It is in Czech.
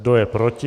Kdo je proti?